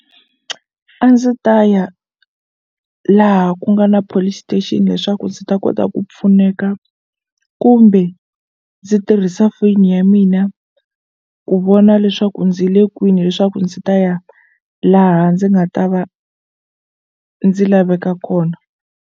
A ndzi ta ya laha ku nga na Police Station leswaku ndzi ta kota ku pfuneka kumbe ndzi tirhisa foyini ya mina ku vona leswaku ndzi le kwini leswaku ndzi ta ya laha ndzi nga ta va ndzi laveka kona.